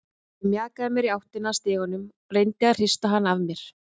Ég mjakaði mér í áttina að stiganum, reyndi að hrista hana af mér.